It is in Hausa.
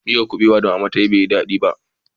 Miyar kubewan da mama ta yi bai yi dadi ba